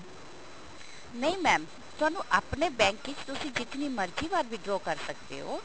ਨਹੀਂ mam ਤੁਹਾਨੂੰ ਆਪਣੇ bank ਵਿੱਚ ਤੁਸੀਂ ਜਿਤਨੀ ਮਰਜ਼ੀ ਵਾਰ withdraw ਕਰ ਸਕਦੇ ਹੋ